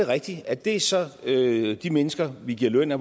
rigtigt at det så er de mennesker vi giver løn af